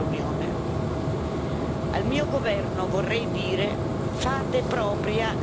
Al mio governo vorrei dire fate propria la riforma del Parlamento